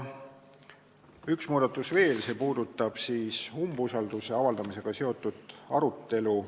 Üks muudatus on veel, see puudutab umbusalduse avaldamisega seotud arutelu.